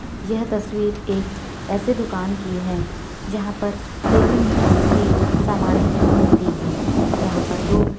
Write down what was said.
यह तस्वीर एक ऐसे दुकान की है यहाँ पर डेली नीड्स की सामाने मिलती हैं यहाँ पर दो --